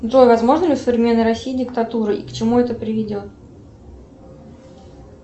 джой возможна ли в современной россии диктатура и к чему это приведет